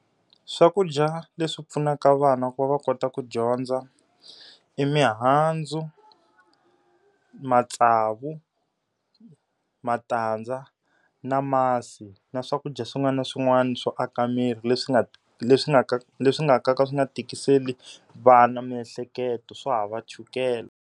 Swakudya leswi pfunaka vana ku va va kota ku dyondza, i mihandzu, matsavu, matandza, na masi na swakudya swin'wana na swin'wana swo aka miri leswi nga leswi nga leswi nga ka nga swi nga tikiseli vana miehleketo, swo hava chukele.